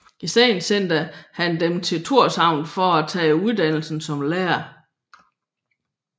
I stedet sendte de ham til Tórshavn for at tage uddannelse som lærer